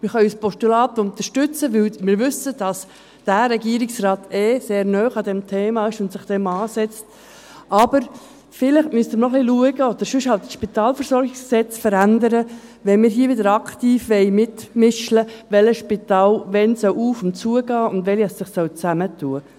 Wir können ein Postulat unterstützen, weil wir wissen, dass der Regierungsrat sehr nahe an diesem Thema ist und sich dem annimmt, aber vielleicht müssen wir noch ein bisschen schauen oder sonst das Spitalversorgungsgesetz (SpVG) verändern, wenn wir hier wieder aktiv mitmischen wollen, welches Spital, wann auf- und zugehen soll und welche sich zusammentun sollen.